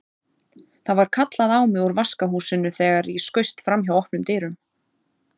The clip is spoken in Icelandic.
Það var kallað á mig úr vaskahúsinu þegar ég skaust framhjá opnum dyrunum.